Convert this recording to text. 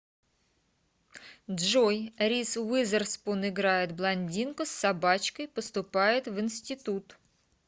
джой риз уизерспун играет блондинку с собачкой поступает в институт